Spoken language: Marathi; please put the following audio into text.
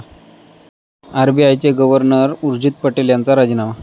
आरबीआयचे गव्हर्नर उर्जित पटेल यांचा राजीनामा